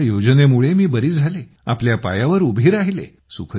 तुमच्या योजनेमुळे बरी झाले आपल्या पायावर उभी राहिले